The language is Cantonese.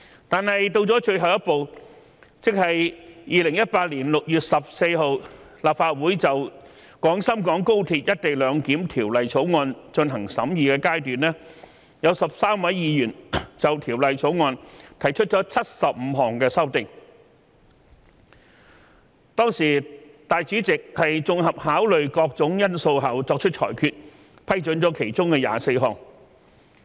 但是，到了最後一步，即2018年6月14日立法會就《廣深港高鐵條例草案》進行審議階段，有13位議員就該條例草案提出75項修正案，當時立法會主席綜合考慮各種因素後作出裁決，批准了其中24項。